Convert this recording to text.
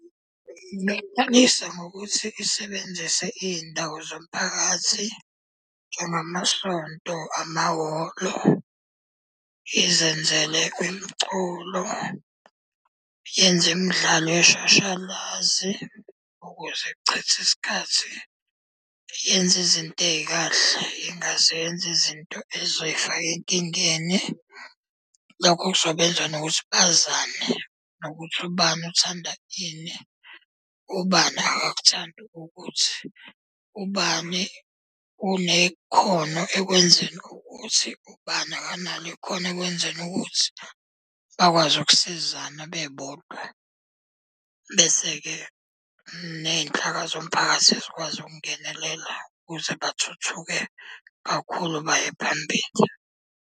Ingaqalisa ngokuthi isebenzise iy'ndawo zomphakathi, njengamasonto, amahholo, izenzele umculo, yenze imidlalo yeshashalazi, ukuze ichithe isikhathi yenze izinto ey'kahle ingazenzi izinto ey'zoy'faka enkingeni. Lokho kuzobenza nokuthi bazane, nokuthi ubani uthanda ini, ubani akakuthandi ukuthi. Ubani unekhono ekwenzeni ukuthi, ubani akanalo ikhona ekwenzeni ukuthi, bakwazi ukusizana bebodwa. Bese-ke ney'nhlaka zomphakathi zikwazi ukungenelela ukuze bathuthuke kakhulu baye phambili.